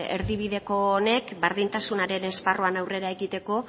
erdibideko honek berdintasunaren esparruan aurrera egiteko